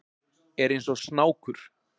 Er eins og snákur.